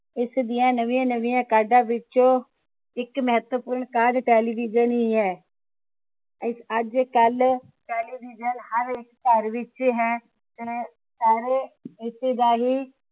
ਇਸ ਦੀਆਂ ਨਵੀਆਂ ਨਵੀਆਂ ਕਾਢਾਂ ਵਿੱਚੋ ਇਕ ਮਹੱਤਵਪੂਰਨ ਕਾਢ television ਹੀ ਹੈ ਅੱਜਕਲ television ਹਰ ਇਕ ਘਰ ਵਿਚ ਹੈ ਤੇ ਸਾਰੇ ਰਿਸ਼ਤੇਦਾਰੀ